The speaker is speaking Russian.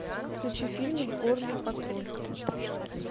включи фильм горный патруль